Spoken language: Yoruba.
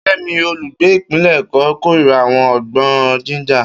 Kemi, olùgbé ìpínlẹ̀ Èkó, kórìíra àwọn ọgbọ́n Ginger.